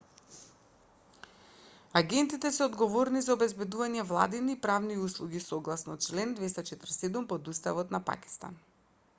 агентите се одговорни за обезбедување владини и правни услуги согласно член 247 од уставот на пакистан